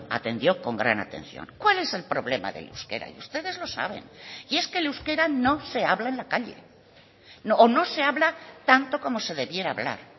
atendió con gran atención cuál es el problema del euskera y ustedes lo saben y es que el euskera no se habla en la calle o no se habla tanto como se debiera hablar